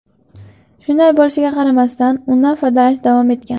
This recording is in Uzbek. Shunday bo‘lishiga qaramasdan, undan foydalanish davom etgan.